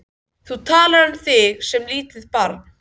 Þú talar um þig sem lítið barn.